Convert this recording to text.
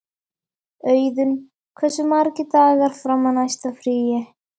Auðun, hversu margir dagar fram að næsta fríi?